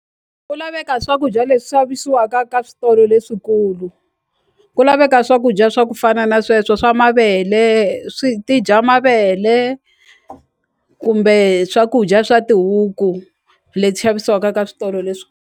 Ku laveka swakudya leswi xavisiwaka ka switolo leswikulu ku laveka swakudya swa ku fana na sweswo swa mavele swi ti dya mavele kumbe swakudya swa tihuku leti xavisiwaka ka switolo leswi.